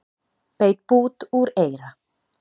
Beit bút úr eyra